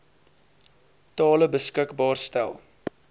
tale beskikbaar stel